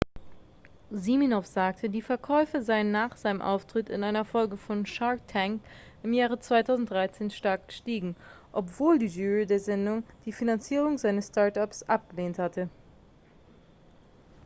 siminoff sagte die verkäufe seien nach seinem auftritt in einer folge von shark tank im jahre 2013 stark gestiegen obwohl die jury der sendung die finanzierung seines start-ups abgelehnt hatte